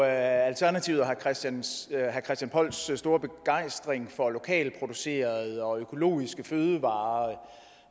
alternativet og herre christian polls store begejstring for lokalt producerede og økologiske fødevarer